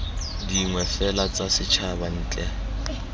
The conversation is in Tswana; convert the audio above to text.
dingwe fela tsa setshaba ntle